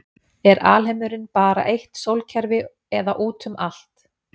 er alheimurinn bara eitt sólkerfi eða útum allt